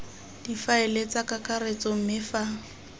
difaele tsa kakaretso mme fa